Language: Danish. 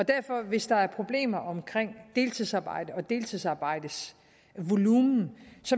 og derfor hvis der er problemer omkring deltidsarbejde og deltidsarbejdets volumen